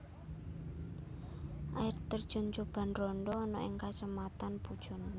Air terjun Coban Rondo ana ing Kacamatan Pujon